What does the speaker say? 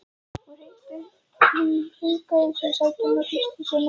Hún hringaði sig í sætinu og þrýsti sér nær honum.